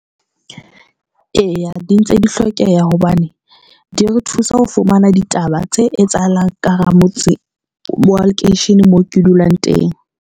Eya, di ntse di hlokeha hobane di re thusa ho fumana ditaba tse etsahalang ka hara motse wa lekeisheneng moo ke dulang teng.